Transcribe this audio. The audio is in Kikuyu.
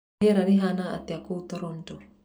rĩera rĩhana atĩa kuu toronto